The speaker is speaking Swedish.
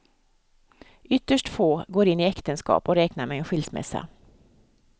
Ytterst få går in i äktenskap och räknar med en skilsmässa.